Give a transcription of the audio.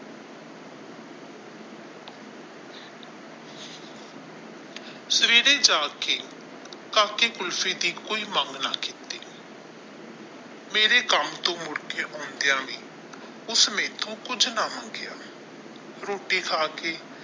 ਸਵੇਰੇ ਜਾਗ ਕੇ ਕਾਕੇ ਖੁਲ੍ਫੀ ਦੀ ਕੋਈ ਮੰਗ ਨਾ ਕੀਤੀ ਮੇਰੇ ਕੰਮ ਤੋਂ ਮੁੜ ਕੇ ਆਉਂਦਿਆ ਵੀ ਉਸਨੇ ਮੇਰੇ ਤੋਂ ਕੁਝ ਨਾ ਮੰਗਿਆ ਰੋਟੀ ਖਾ ਕੇ।